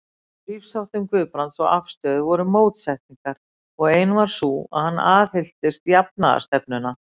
Í lífsháttum Guðbrands og afstöðu voru mótsetningar, og ein var sú, að hann aðhylltist jafnaðarstefnuna.